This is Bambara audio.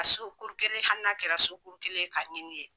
A so kuru kelen hali n'a kɛra so kuru kelen ka ɲini yen.